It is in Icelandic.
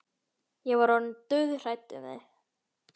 Ég var orðin dauðhrædd um þig,